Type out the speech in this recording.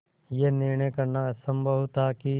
यह निर्णय करना असम्भव था कि